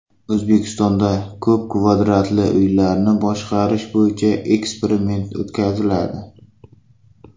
O‘zbekistonda ko‘p kvartirali uylarni boshqarish bo‘yicha eksperiment o‘tkaziladi.